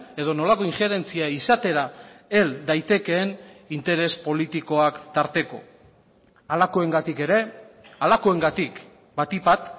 edo nolako injerentzia izatera hel daitekeen interes politikoak tarteko halakoengatik ere halakoengatik batik bat